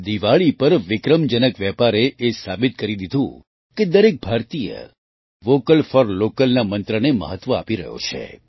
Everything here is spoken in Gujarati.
દિવાળી પર વિક્રમજનક વેપારે એ સાબિત કરી દીધું કે દરેક ભારતીય વૉકલ ફૉર લૉકલના મંત્રને મહત્ત્વ આપી રહ્યો છે